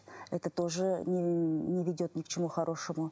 это тоже не ведет ни к чему хорошему